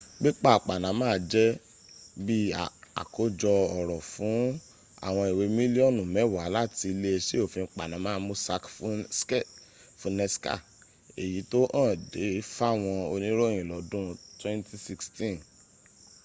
pépà panama jẹ́ bí àkójọ ọ̀rọ̀ fún àwọn ìwé mílíọ̀nù mẹ́wàá láti iléeṣẹ́ òfin panama mossack fonseca èyí tó hàn de fáwọn oníròyìn lọ́dun 2016